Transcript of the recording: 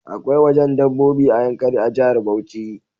Akwai wajen dabbobi a yankari a jahar Bauchi